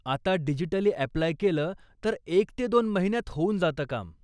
आता digitally apply केलं तर एक ते दोन महिन्यात होऊन जातं काम.